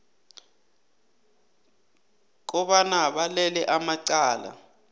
kobana balele amacala